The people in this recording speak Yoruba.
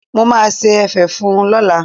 Mo máa ṣe ẹ̀fẹ̀ fún un lọ́la.